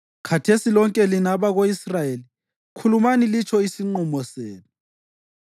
Khathesi lonke lina abako-Israyeli, khulumani litsho isinqumo senu.”